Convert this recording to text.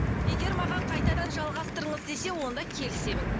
егер маған қайтадан жалғастырыңыз десе онда келісемін